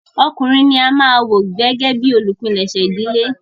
Ọkùnrin ní a máà wò gbẹ́gẹ́ bìí olupèsè ìdílé.